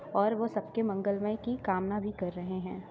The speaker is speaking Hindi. और वो सबके मंगलमय की कामना भी कर रहे हैं।